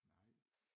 Nej